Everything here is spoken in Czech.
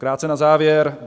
Krátce na závěr.